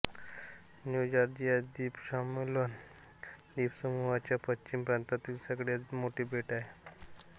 new Georgia द्वीप Solomon द्वीपसमूहाच्या पश्चिम प्रांतातील सगळ्यात मोठे बेट आहे